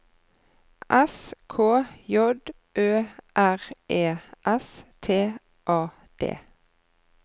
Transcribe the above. S K J Ø R E S T A D